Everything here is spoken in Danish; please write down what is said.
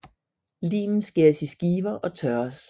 Limen skæres i skiver og tørres